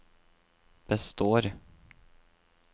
består